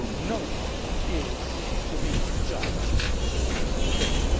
no one is to be a judge in his own case.